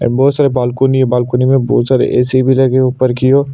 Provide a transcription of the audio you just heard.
ए बहोत सारे बालकनी है बालकनी में बहोत सारे ए_सी भी लगे है ऊपर की ओर--